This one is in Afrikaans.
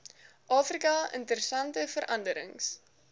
afrika interessante veranderings